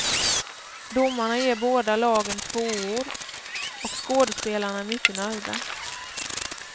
Domarna ger båda lagen tvåor och skådespelarna är mycket nöjda.